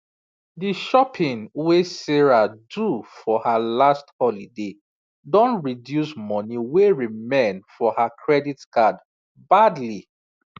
the shopping wey sarah do for her last holiday don reduce money wey remain for her credit card badly